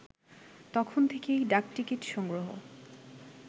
তখন থেকেই ডাকটিকিট সংগ্রহ